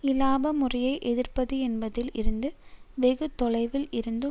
இலாப முறையை எதிர்ப்பது என்பதில் இருந்து வெகு தொலைவில் இருந்து